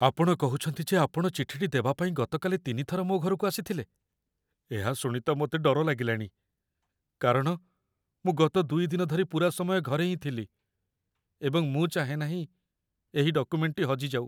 ଆପଣ କହୁଛନ୍ତି ଯେ ଆପଣ ଚିଠିଟି ଦେବାପାଇଁ ଗତକାଲି ତିନି ଥର ମୋ ଘରକୁ ଆସିଥିଲେ - ଏହା ଶୁଣି ତ ମୋତେ ଡର ଲାଗିଲାଣି, କାରଣ ମୁଁ ଗତ ୨ ଦିନ ଧରି ପୂରାସମୟ ଘରେ ହିଁ ଥିଲି, ଏବଂ ମୁଁ ଚାହେଁ ନାହିଁ ଏହି ଡକୁମେଣ୍ଟଟି ହଜିଯାଉ।